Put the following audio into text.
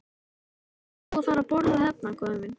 Ætlarðu nú að fara að borða hérna, góði minn?